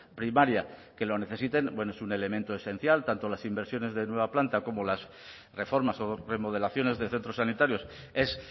primaria que lo necesiten bueno es un elemento esencial tanto las inversiones de nueva planta como las reformas o remodelaciones de centros sanitarios es